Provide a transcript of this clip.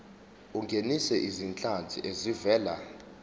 ungenise izinhlanzi ezivela